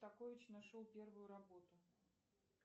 такович нашел первую работу